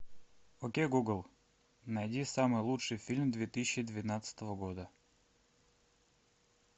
окей гугл найди самый лучший фильм две тысячи двенадцатого года